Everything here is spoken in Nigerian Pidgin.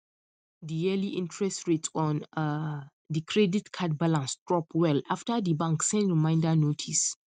the yearly interest rate on um the credit card balance drop well after the bank send reminder notice